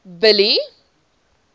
billy